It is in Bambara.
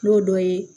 N'o dɔ ye